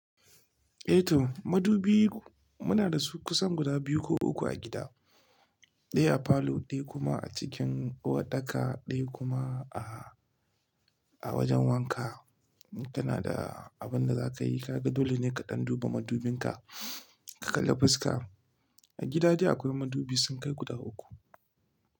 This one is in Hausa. Eh to madubi muna da su kusan guda biyu ko uku a gida. Ɗaya a falo, ɗaya kuma a cikin uwarɗaka, ɗaya kuma a, a wajen wanka. Tana da abin da za ka yi, ka ga dole ne ka ɗan duba madubin ka, ka kalla fuska. A gida dai akwai madubi sun kai guda uku.